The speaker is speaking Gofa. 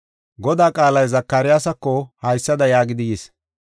Godaa qaalay Zakariyasako haysada yaagidi yis: